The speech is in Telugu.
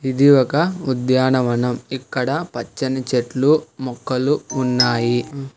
ఇది ఒక ఉద్యానవనం ఇక్కడ పచ్చని చెట్లు మొక్కలు ఉన్నాయి